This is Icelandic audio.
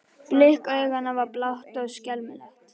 Blik augnanna var blátt og skelmislegt.